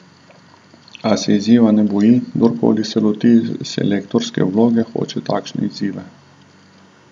A se izziva ne boji: "Kdorkoli se loti selektorske vloge, hoče takšne izzive.